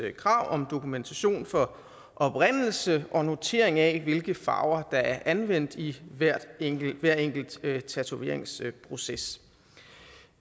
krav om dokumentation for oprindelse og notering af hvilke farver der er anvendt i hver enkelt hver enkelt tatoveringsproces